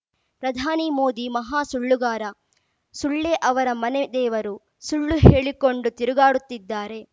ಪ್ರಧಾನಿ ಮೋದಿ ಮಹಾ ಸುಳ್ಳುಗಾರ ಸುಳ್ಳೇ ಅವರ ಮನೆ ದೇವರು ಸುಳ್ಳು ಹೇಳಿಕೊಂಡು ತಿರುಗಾಡುತ್ತಿದ್ದಾರೆ